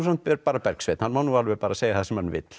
bara Bergsveinn hann má alveg segja það sem hann vill